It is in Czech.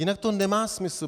Jinak to nemá smysl.